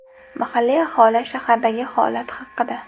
Mahalliy aholi shahardagi holat haqida.